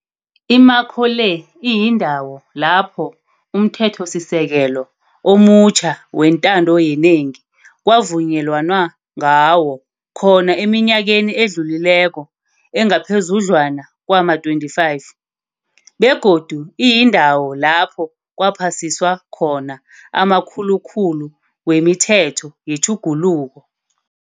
Imakho le iyindawo lapho umThethosisekelo omutjha wentando yenengi kwavunyelanwa ngawo khona eminyakeni edlulileko engaphezudlwana kwama-25, begodu iyindawo lapho kwaphasiswa khona amakhulukhulu wemithetho yetjhuguluko.